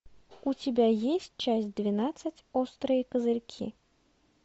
у тебя есть часть двенадцать острые козырьки